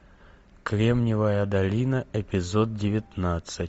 кремниевая долина эпизод девятнадцать